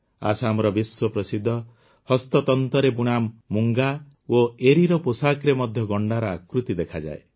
ଆସାମର ବିଶ୍ୱପ୍ରସିଦ୍ଧ ହସ୍ତତନ୍ତରେ ବୁଣା ମୁଙ୍ଗା ଓ ଏରୀର ପୋଷାକରେ ମଧ୍ୟ ଗଣ୍ଡାର ଆକୃତି ଦେଖାଯାଏ